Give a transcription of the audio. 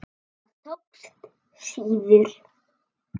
Það tókst síður.